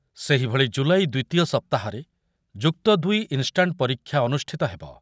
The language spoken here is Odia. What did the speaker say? ସେହିଭଳି ଜୁଲାଇ ଦ୍ୱିତୀୟ ସପ୍ତାହରେ ଯୁକ୍ତ ଦୁଇ ଇନ୍‌ଷ୍ଟାଣ୍ଟ ପରୀକ୍ଷା ଅନୁଷ୍ଠିତ ହେବ ।